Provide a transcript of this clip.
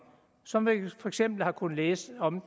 som dem vi for eksempel har kunnet læse om